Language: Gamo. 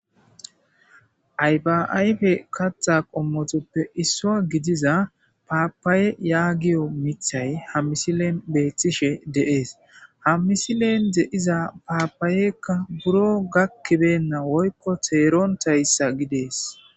Ayfa ayfe katha qommotuppe issuwa gidiza papaye yagiyo mithay ha misilen betishe de'ese ha misilen de'iza papayeykka buro gakibeynna woykon terontaysa gides